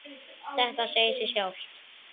Þetta segir sig sjálft.